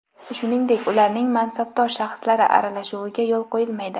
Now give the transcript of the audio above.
shuningdek ularning mansabdor shaxslari aralashuviga yo‘l qo‘yilmaydi.